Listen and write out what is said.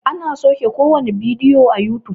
ana sauke kowane bidiyo a yutub